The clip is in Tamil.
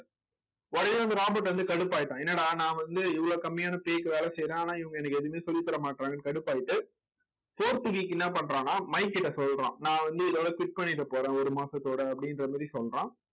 உடனே அந்த ராபர்ட் வந்து கடுப்பாயிட்டான் என்னடா நான் வந்து இவ்வளவு கம்மியான pay க்கு வேலை செய்யறேன் ஆனா இவங்க எனக்கு எதுவுமே சொல்லித் தர மாட்டறாங்கன்னு கடுப்பாயிட்டு fourth week என்ன பண்றான்னா மைக்கிட்ட சொல்றான் நான் வந்து இதோட quit பண்ணிட்டு போறேன் ஒரு மாசத்தோட அப்படின்ற மாதிரி சொல்றான்